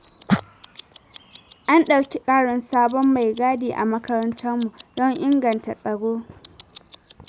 An ɗauki ƙarin sabon mai gadi a makarantar mu, don inganta tsaro.